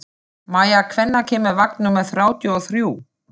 Maia, hvenær kemur vagn númer þrjátíu og þrjú?